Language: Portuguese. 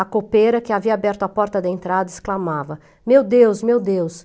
A copeira, que havia aberto a porta da entrada, exclamava, meu Deus, meu Deus!